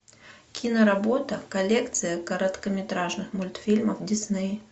киноработа коллекция короткометражных мультфильмов дисней